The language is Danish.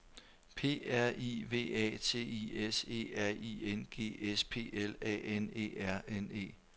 P R I V A T I S E R I N G S P L A N E R N E